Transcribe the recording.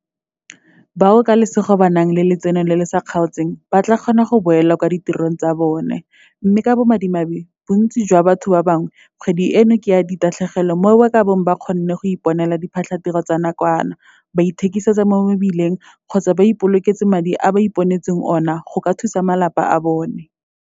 Bao ka lesego ba nang le letseno le le sa kgaotseng ba tla kgona go boela kwa ditirong tsa bona, mme ka bomadimabe bontsi jwa batho ba bangwe kgwedi eno ke ya ditatlhegelo mo ba ka bong ba kgonne go iponela diphatlhatiro tsa nakwana, ba ithekiseditse mo mebileng kgotsa ba ipoloketse madi a ba iponetseng one go ka thusa malapa a bona.